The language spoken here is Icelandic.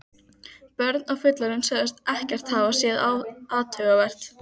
Börn og fullorðnir sögðust ekkert hafa séð athugavert.